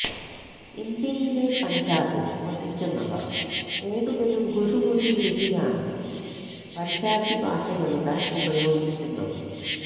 ഇന്ത്യയിലെ പഞ്ചാബിൽ വസിക്കുന്നവർ കൂടുതലും ഗുരുമുഖി ലിപിയാണ് പഞ്ചാബി ഭാഷയെഴുതാൻ ഉപയോഗിക്കുന്നത്